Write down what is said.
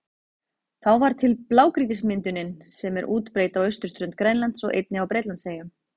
Þá varð til blágrýtismyndunin sem er útbreidd á austurströnd Grænlands og einnig á Bretlandseyjum.